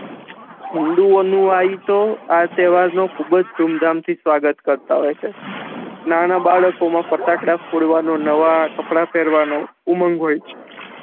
હિંદુઓનું આઈ તો આ તેહવાર નુ ખુબજ ધૂમ-ધામ થી સ્વાગત કરતા હોય છે નાના બાળકો મા ફેટાકડા ફોડવાનો નવા કપડા પેહરવા નો ઉમંગ હોય છે